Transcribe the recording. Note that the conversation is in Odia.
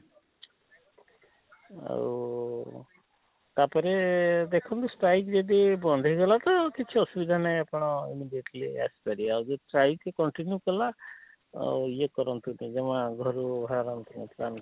ଆଉ ଉଃ ତାପରେ ଦେଖନ୍ତୁ streik ଯଦି ବନ୍ଦ ହେଇ ଗଲା ତ କିଛି ଅସୁବିଧା ନାହିଁ ଆପଣ immediately ଆସି ପାରିବେ ଆଉ ଯଦି streik contiune କଲା ଆଃ ଇଏ କରନ୍ତୁ ତ ଜମା ଘରୁ ବାହାରନ୍ତୁ